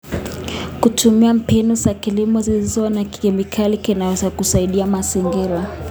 Kutumia mbinu za kilimo zisizo na kemikali kunaweza kusaidia mazingira.